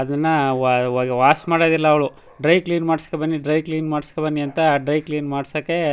ಅದಿನ್ನಾ wash ಮಾಡೋದಿಲ್ಲಾ ಅವ್ಳು dry clean ಮಾಡ್ಸಕೊ ಬನ್ನಿ ಡ್ರೈ ಕ್ಲೀನ್ ಮಾಡ್ಸಕೊ ಬನ್ನಿ ಅಂತ ಡ್ರೈ ಕ್ಲೀನ್ ಮಾಡ್ಸಕ್ಕೆ--